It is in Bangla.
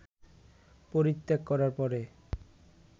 পরিত্যাগ করার পরে